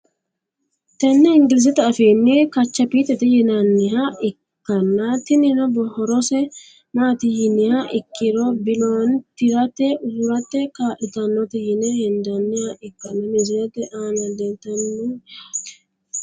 Tene ingilzete afiini kachaptete yinaniha ikanna tinino horose maati yiniha ikiro biloone tirate usurate kaalitanote yine hendaniha ikanna misilete aana leeltano yaate.